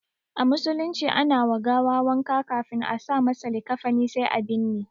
A musulunci ana wa gawa wanka ƙafin a sa masa likafani sai a binne.